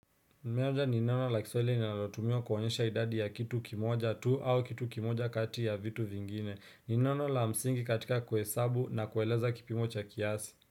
Nimeonja ni neno la kiswahili linalotumiwa kuonyesha idadi ya kitu kimoja tu au kitu kimoja kati ya vitu vingine. Ni neno la msingi katika kuhesabu na kueleza kipimo cha kiasi.